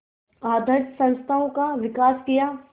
आधारित संस्थाओं का विकास किया